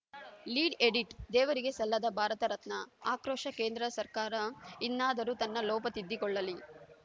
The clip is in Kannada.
ಲೀಡ್‌ ಎಡಿಟ್‌ ದೇವರಿಗೆ ಸಲ್ಲದ ಭಾರತ ರತ್ನ ಆಕ್ರೋಶ ಕೇಂದ್ರ ಸರ್ಕಾರ ಇನ್ನಾದರೂ ತನ್ನ ಲೋಪ ತಿದ್ದಿಕೊಳ್ಳಲಿ